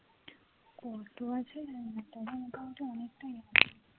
কত আছে জানিনা তবে মোটামুটি অনেকটাই আছে